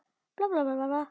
Þau eru nú öll látin.